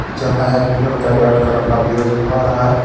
जहाँ एक लड़का बैठकर अपना बीयर्ड बनवा रहा है.